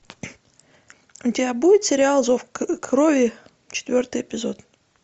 у тебя будет сериал зов крови четвертый эпизод